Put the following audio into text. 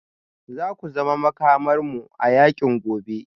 Za ku zama Makamarmu a yakin gobe